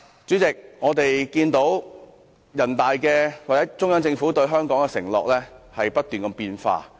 主席，我們看到中央政府對香港的承諾不斷變化。